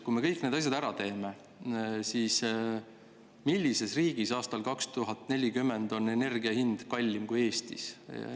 Kui me kõik need asjad ära teeme, siis millises riigis on aastal 2040 energia hind kallim kui Eestis?